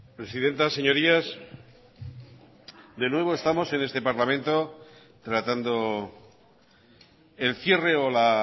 presidenta señorías de nuevo estamos en este parlamento tratando el cierre o la